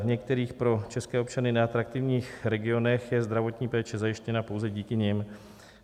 V některých pro české občany neatraktivních regionech je zdravotní péče zajištěna pouze díky nim.